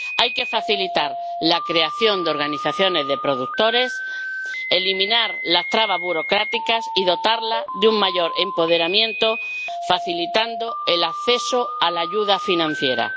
Hay que facilitar la creación de organizaciones de productores, eliminar las trabas burocráticas y dotarlas de un mayor empoderamiento, facilitando el acceso a la ayuda financiera.